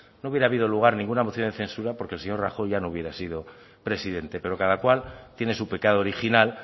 no hubiera habido lugar a ninguna moción de censura porque el señor rajoy ya no hubiera sido presidente pero cada cual tiene su pecado original